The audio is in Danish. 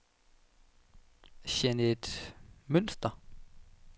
Jeanet Mønster